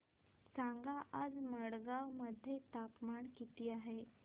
सांगा आज मडगाव मध्ये तापमान किती आहे